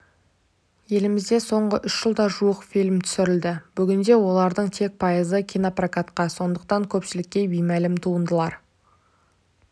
елімізде соңғы үш жылда жуық фильм түсірілді бүгінде олардың тек пайызы кинопрокатта сондықтан көпшілікке беймәлім туындылар